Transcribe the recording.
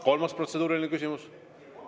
Kolmas protseduuriline küsimus.